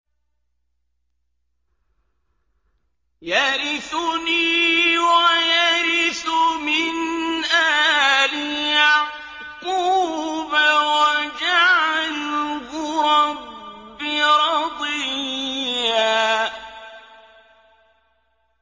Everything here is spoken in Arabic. يَرِثُنِي وَيَرِثُ مِنْ آلِ يَعْقُوبَ ۖ وَاجْعَلْهُ رَبِّ رَضِيًّا